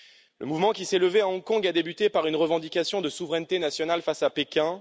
Le mouvement qui s'est levé à Hong Kong a débuté par une revendication de souveraineté nationale face à Pékin.